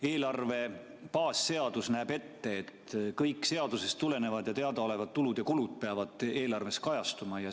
Eelarve baasseadus näeb ette, et kõik seadusest tulenevad ja teadaolevad tulud ja kulud peavad eelarves kajastuma.